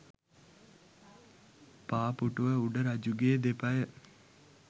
පා පුටුව උඩ රජුගේ දෙපය